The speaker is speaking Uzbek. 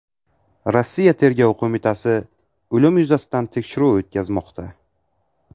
Rossiya tergov qo‘mitasi o‘lim yuzasidan tekshiruv o‘tkazmoqda.